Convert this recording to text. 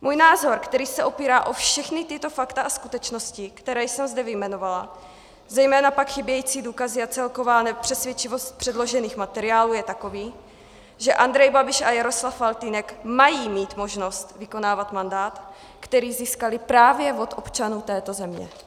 Můj názor, který se opírá o všechna tato fakta, a skutečnosti, které jsem zde vyjmenovala, zejména pak chybějící důkazy a celková nepřesvědčivost předložených materiálů je takový, že Andrej Babiš a Jaroslav Faltýnek mají mít možnost vykonávat mandát, který získali právě od občanů této země.